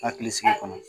Hakili sigi kɔnɔ